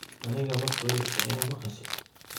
Aniga maqawesti aya maqashe.